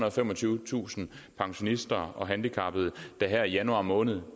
og femogtyvetusind pensionister og handicappede der her i januar måned